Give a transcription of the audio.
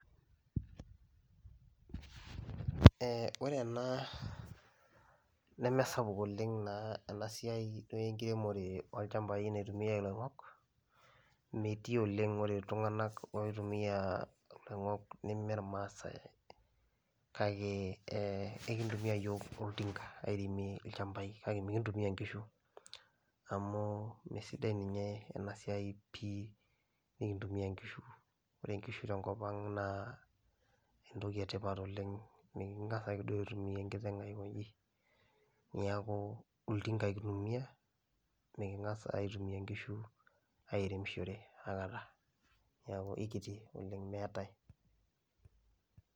Ee ore ena neme sapuk oleng' naa ena siai duo enkiremore oolchambai naitumiai iloing'ok, metii oleng'. Ore iltung'anak oitumia iloing'ok nemee irmaasai kake ee ekintumia iyiok olting'a airemie ilchambai kake mekintumia inkishu amu meesidai ninye ena siai pii enekintumia nkishu, ore nkishu te nkop ang' naa entoki e tipat oleng' meking'as ake duo aitumia enkiteng' aiko nji. Neeku olting'a ake itumia meking'as aitumia inkishu airemishore akata, neeku ekiti oleng' meetai.